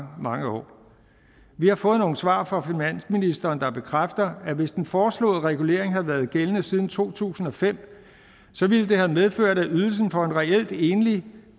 mange år vi har fået nogle svar fra finansministeren der bekræfter at hvis den foreslåede regulering havde været gældende siden to tusind og fem ville det have medført at ydelsen for en reelt enlig